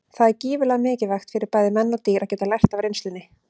Það er gífurlega mikilvægt fyrir bæði menn og dýr að geta lært af reynslunni.